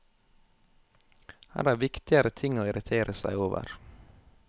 Her er viktigere ting å irritere seg over.